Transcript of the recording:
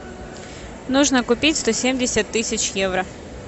нужно купить сто семьдесят тысяч евро